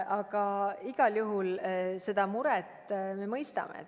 Aga igal juhul seda muret me mõistame.